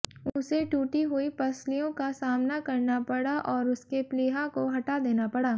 उसे टूटी हुई पसलियों का सामना करना पड़ा और उसके प्लीहा को हटा देना पड़ा